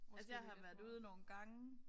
Altså jeg har været ude nogle gange